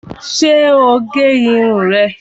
Ṣé o gé irun rẹ̀